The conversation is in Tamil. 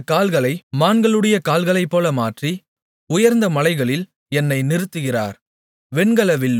அவர் என்னுடைய கால்களை மான்களுடைய கால்களைப்போல மாற்றி உயர்ந்த மலைகளில் என்னை நிறுத்துகிறார்